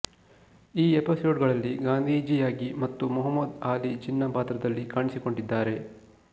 ಈ ಎಪಿಸೋಡ್ ಗಳಲ್ಲಿ ಗಾಂಧೀಜಿ ಯಾಗಿ ಮತ್ತು ಮೊಹಮ್ಮದ್ ಆಲಿ ಜಿನ್ನ ಪಾತ್ರದಲ್ಲಿ ಕಾಣಿಸಿಕೊಂಡಿದ್ದಾರೆ